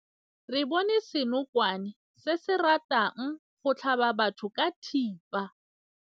Re bone senokwane se se ratang go tlhaba batho ka thipa.